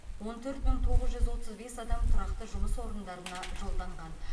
он төрт мың тоғыз жүз отыз бес адам тұрақты жұмыс орындарына жолданған